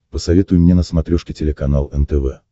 посоветуй мне на смотрешке телеканал нтв